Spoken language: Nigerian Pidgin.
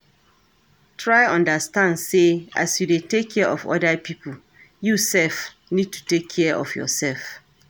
Try understand sey as you dey take care of oda pipo you sef need to take care of yourself